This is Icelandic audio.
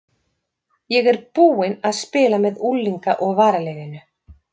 Ég er búinn að spila með unglinga og varaliðinu.